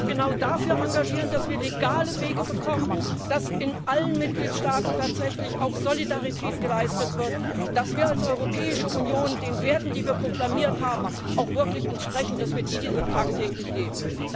Sie müssen sich genau dafür engagieren, dass wir legale Wege bekommen, dass in allen Mitgliedstaaten tatsächlich auch Solidarität geleistet wird, dass wir als Europäische Union den Werten, die wir proklamiert haben, auch wirklich entsprechen, dass wir die tagtäglich leben.